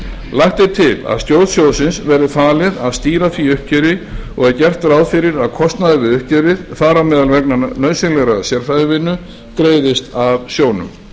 lagt er til að stjórn sjóðsins verði falið að stýra því uppgjöri og er gert ráð fyrir að kostnaður við uppgjörið þar á meðal vegna nauðsynlegrar sérfræðivinnu greiðist af sjóðnum